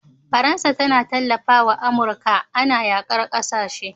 Faransa tAna talafawa amurka Ana yakar ƙasashe